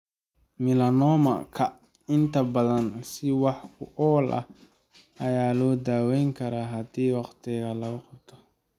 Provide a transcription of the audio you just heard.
Melanoma-ka inta badan si wax ku ool ah ayaa loo daweyn karaa haddii waqtiga lagu qabto.